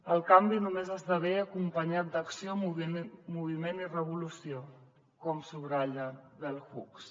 el canvi només esdevé acompanyat d’acció moviment i revolució com subratlla bell hooks